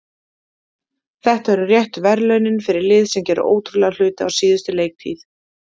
Þetta eru réttu verðlaunin fyrir lið sem gerði ótrúlega hluti á síðustu leiktíð.